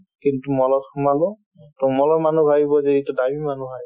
mall ত সোমালো to mall ৰ মানুহে ভাবিব যে এইটো দামী মানুহ হয়